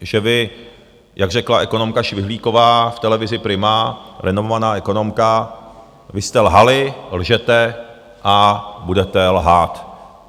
Že vy, jak řekla ekonomka Švihlíková v televizi Prima, renomovaná ekonomka, vy jste lhali, lžete a budete lhát.